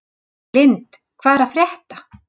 Lynd, hvað er að frétta?